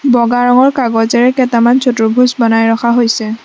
বগা ৰঙৰ কাগজেৰে কেইটামান চতুৰ্ভুজ বনাই ৰখা হৈছে।